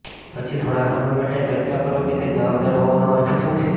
પછી થોડા સમય માટે ચર્ચા કરો કે તે જવાબદાર હોવાનો અર્થ શું છે